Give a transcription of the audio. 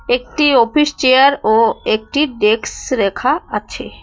একটি office chair ও একটি ডেক্স রেখা আছে।